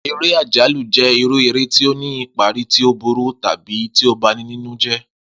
Eré àjálù jé irú eré tí ó ní ìparí tí ó burú tàbí tí ó ba ni nínú jé̩